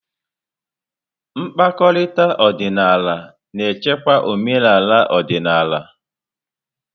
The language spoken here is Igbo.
Mkpakọrịta ọdịnala na-echekwa omenala ọdịnala.